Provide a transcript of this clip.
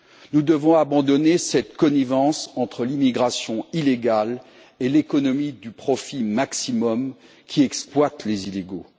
Nous devons abandonner cette connivence entre l'immigration illégale et l'économie du profit maximum qui exploite les illégaux.